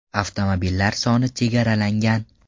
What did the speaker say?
Avtomobillar soni chegaralangan.